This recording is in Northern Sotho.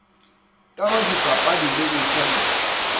ka go dipapadi le boithabišo